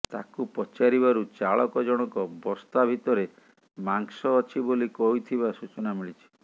ତାକୁ ପଚାରିବାରୁ ଚାଳକ ଜଣଙ୍କ ବସ୍ତା ଭିତରେ ମାଂସ ଅଛି ବୋଲି କହିଥିବା ସୂଚନା ମିଳିଛି